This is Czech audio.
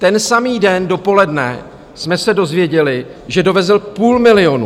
Ten samý den dopoledne jsme se dozvěděli, že dovezl půl milionu.